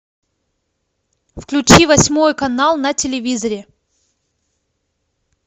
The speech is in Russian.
включи восьмой канал на телевизоре